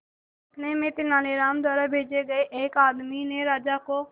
इतने में तेनालीराम द्वारा भेजे गए एक आदमी ने राजा को